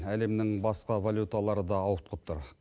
әлемнің басқа валюталары да ауытқып тұр